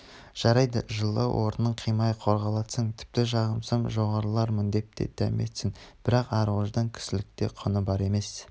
жарайды жылы орынын қимай қорғалақтасын тіпті жағынсам жоғарылармын деп те дәметсін бірақ ар-ождан кісіліктің де құны бар емес